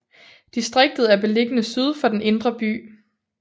Distriktet er beliggende syd for den indre by